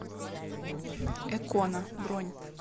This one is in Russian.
экона бронь